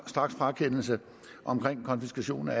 straksfratagelse og konfiskation af